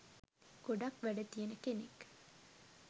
ගොඩක් වැඩ තියෙන කෙනෙක්.